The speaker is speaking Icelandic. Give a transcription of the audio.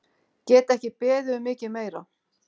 Get ekki beðið um mikið meira!